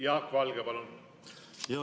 Jaak Valge, palun!